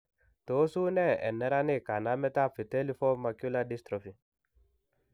Tos unee en neranik kanamet ab vitelliform macular dystrophy ?